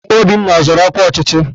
Obinna ọzọrọ ọkwa ọchịchị?